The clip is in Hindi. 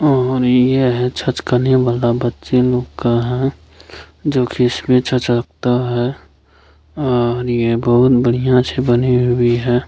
और ये है छत के नियम वाला बच्चा लोग का है जो की रखता है और ये बहुत बढियाँ से बंधी हुई है।